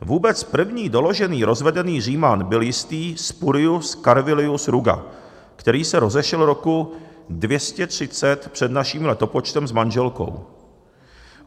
Vůbec první doložený rozvedený Říman byl jistý Spurius Carvilius Ruga, který se rozešel roku 230 před naším letopočtem s manželkou.